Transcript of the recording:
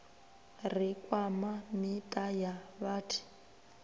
ri kwama miṱa ya vhathi